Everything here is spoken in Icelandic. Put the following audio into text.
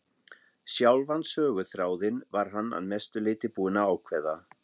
Sjálfan söguþráðinn var hann að mestu leyti búinn að ákveða.